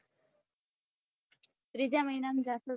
તીજા મહિના માં જાસુ